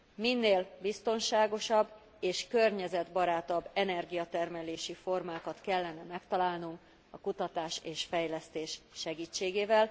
Minél biztonságosabb és környezetbarátabb energiatermelési formákat kellene megtalálnunk a kutatás és fejlesztés segítségével.